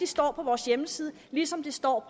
står på vores hjemmeside ligesom det står